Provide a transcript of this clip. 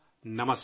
نمسکار